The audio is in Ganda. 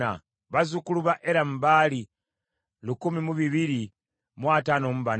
bazzukulu ba Eramu baali lukumi mu bibiri mu ataano mu bana (1,254),